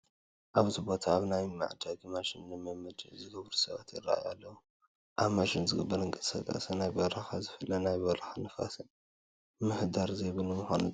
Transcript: ኣብዚ ቦታ ኣብ ናይ መጉየዪ ማሽን ልምምድ ዝገብሩ ሰባት ይርአዩ ኣለዉ፡፡ ኣብ ማሽን ዝግበር እንቅስቃሴ ካብ ናይ በረኻ ዝፍለ ናይ በረኻ ንፋስን ምህዳርን ዘይብሉ ብምዃኑ ጥራሕ እዩ፡፡